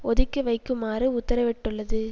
ஒதுக்கி வைக்குமாறு உத்தரவிட்டுள்ளது